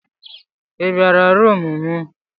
I bịara rumụ m.